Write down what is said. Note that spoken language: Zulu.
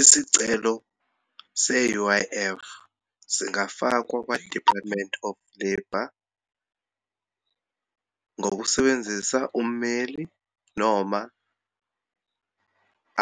Isicelo se-U_I_F singafakwa kwa-Department of Labour ngokusebenzisa ummeli noma